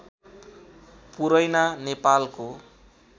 पुरैना नेपालको